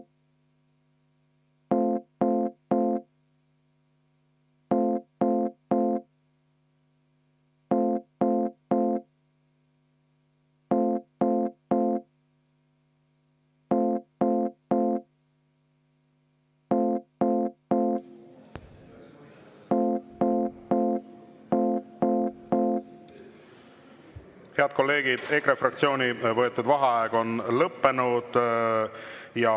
Head kolleegid, EKRE fraktsiooni võetud vaheaeg on lõppenud.